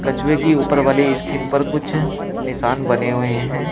कछुए की ऊपर वाली स्कीन पर कुछ निशान बने हुए हैं।